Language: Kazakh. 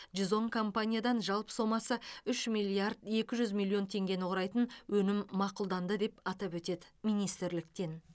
жүз он компаниядан жалпы сомасы үш бүтін оннан екі миллиард тенгені құрайтын өтінім мақұлданды деп атап өтеді министрліктен